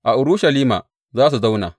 A Urushalima za su zauna.